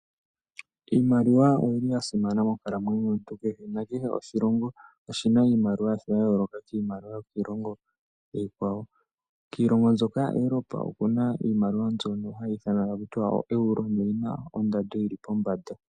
Iimaliwa oyili yasimana monkalamwenyo yomuntu kehe, nakehe oshilongo oshina iimaliwa yasho yayooloka kiimaliwa yokiilongo iikwawo. Kiilongo mbyoka yaEuropa okuna iimaliwa mbyono hayi ithanwa taku tiwa ooEuro noyina ndando yili pombanda.